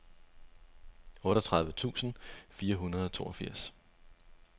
otteogtredive tusind fire hundrede og toogfirs